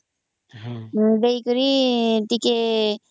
ଦେଇକରି ଟିକେ